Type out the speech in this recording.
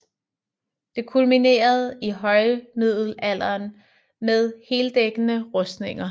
Det kulminerede i højmiddelalderen med heldækkende rustninger